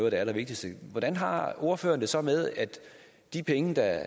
allervigtigste hvordan har ordføreren det så med at de penge der